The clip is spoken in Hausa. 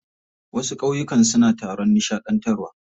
Wasu ƙauyukan suna taron nishaɗantarwa.